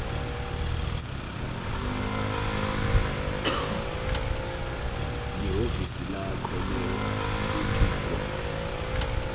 lihhovisi lakho lelitiko